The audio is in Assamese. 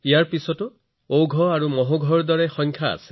কেৱল এয়াই নহয় ওঘ আৰু মহৌঘৰ দৰে সংখ্যাও আছে